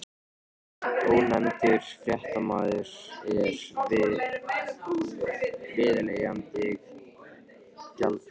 Ónefndur fréttamaður: En veiðileyfagjaldið?